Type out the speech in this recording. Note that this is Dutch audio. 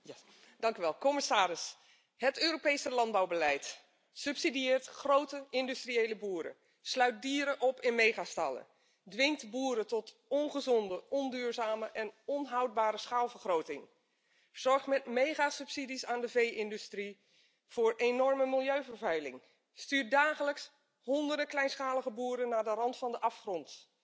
Voorzitter, commissaris, het Europese landbouwbeleid subsidieert grote industriële boeren, sluit dieren op in megastallen, dwingt boeren tot ongezonde, niet duurzame en onhoudbare schaalvergroting, zorgt met megasubsidies aan de vee industrie voor enorme milieuvervuiling, stuurt dagelijks honderden kleinschalige boeren naar de rand van de afgrond,